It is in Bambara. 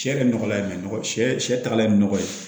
Sɛ yɛrɛ nɔgɔya ye sɛ sɛ sɛ sɛ tagala ye nɔgɔ ye